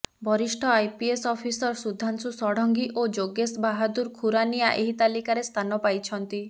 ବରିଷ୍ଠ IPS officer Sudhanshu Sarangi ଓ ଯୋଗେଶ ବାହାଦୁର ଖୁରାନିଆ ଏହି ତାଲିକାରେ ସ୍ଥାନ ପାଇଛନ୍ତି